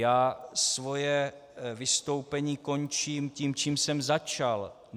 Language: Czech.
Já svoje vystoupení končím tím, čím jsem začal.